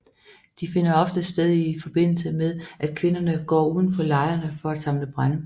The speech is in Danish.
De finder ofte sted i forbindelse med at kvinderne går uden for lejrene for at samle brænde